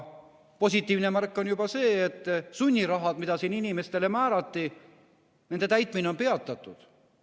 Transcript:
Positiivne märk on juba see, et sunnirahad, mis siin inimestele määrati – nende täitmine on peatatud.